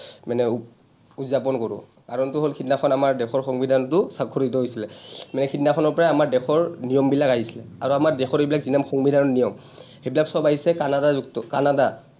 মানে উদযাপন কৰোঁ? কাৰণটো হ’ল সিদিনাখন আমাৰ দেশৰ সংবিধানটো স্বাক্ষৰিত হৈছিলে। মানে সিদিনাখনৰ পৰাই আমাৰ দেশৰ নিয়মবিলাক আহিছিলে আৰু আমাৰ দেশৰ এইবিলাক ইমান সংবিধানৰ নিয়ম, সেইবিলাক চব আহিছে কানাডা যুক্ত, কানাডা,